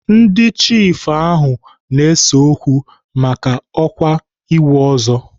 Ndị chiifu ahụ na-ese okwu maka ọkwa ịwụ ọzọ.